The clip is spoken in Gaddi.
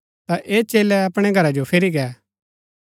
ता ऐह चेलै अपणै घरा जो फिरी गै